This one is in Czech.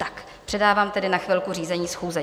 Tak, předávám tedy na chvilku řízení schůze.